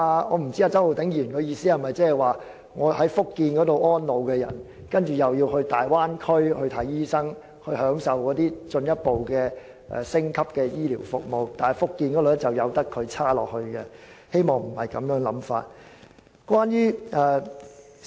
我不知道周浩鼎議員的意思是否讓在福建安老的長者前往大灣區求診時可享受進一步或升級醫療服務，但卻任由福建繼續差勁下去。